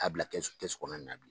A bila kɛsu kɔnɔ na bilen